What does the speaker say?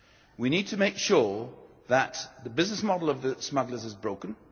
We need to make sure that the business model of the smugglers is broken.